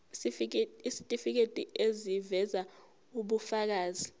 isitifiketi eziveza ubufakazi